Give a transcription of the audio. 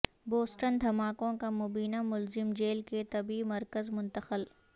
Boston دھماکوں کا مبینہ ملزم جیل کے طبی مرکز منتقل